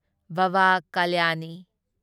Baba Kalyani